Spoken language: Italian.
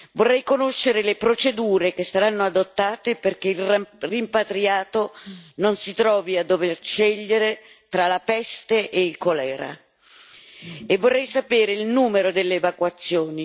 Vorrei conoscere le procedure che saranno adottate perché il rimpatriato non si trovi a dover scegliere tra la peste e il colera, e vorrei sapere il numero delle evacuazioni.